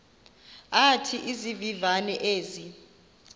athi izivivane ezi